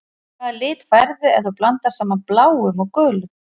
Hvaða lit færðu ef þú blandar saman bláum og gulum?